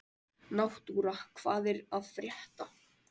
Náttúra, hvað er að frétta?